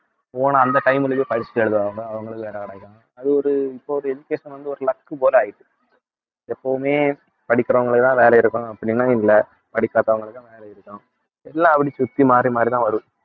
போன அந்த time லயே படிச்சுட்டு எழுதுவாங்க அவங்களுக்கு வேலை கிடைக்கும். அது ஒரு இப்போ ஒரு education வந்து ஒரு luck போல ஆயிட்டிருக்கு எப்பவுமே படிக்கிறவங்களுக்குதான் வேலை இருக்கும் அப்படின்னா இல்லை படிக்காதவங்களுக்கு வேலை இருக்கும் எல்லாம் அப்படி சுத்தி மாறி மாறிதான் வரும்